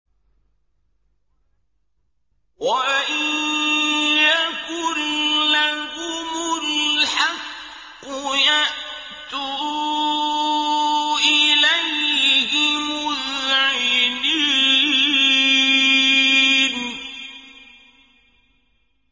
وَإِن يَكُن لَّهُمُ الْحَقُّ يَأْتُوا إِلَيْهِ مُذْعِنِينَ